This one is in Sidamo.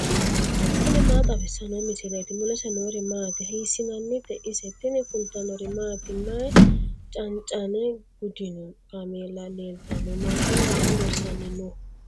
tini maa xawissanno misileeti ? mulese noori maati ? hiissinannite ise ? tini kultannori maati? May cancanne gudinno kaameela leelittanno? Maashinne maa loosanni noo?